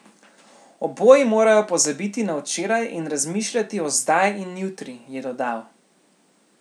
Oboji morajo pozabiti na včeraj in razmišljati o zdaj in jutri, je dodal.